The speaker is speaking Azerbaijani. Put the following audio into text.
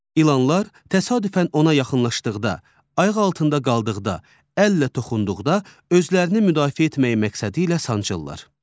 İlanlar təsadüfən ona yaxınlaşdıqda, ayaq altında qaldıqda, əllə toxunduqda özlərini müdafiə etmək məqsədilə sancırlar.